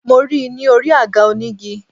Mo ri i ni orí àga onígi